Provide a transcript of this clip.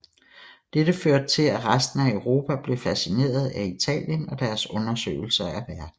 Dette førte til at resten af Europa blev fascineret af Italien og deres undersøgelser af verden